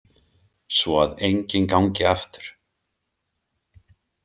Svo að enginn gangi aftur.